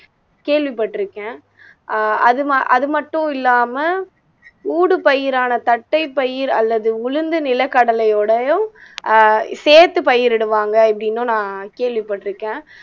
கேள்விப்பட்டிருக்கேன் அஹ் அது ம அது மட்டும் இல்லாம ஊடுபயிரான தட்டைப்பயிர் அல்லது உளுந்து நிலக்கடலையோடையும் அஹ் சேர்த்து பயிரிடுவாங்க அப்படின்னும் நான் கேள்விப்பட்டிருக்கேன்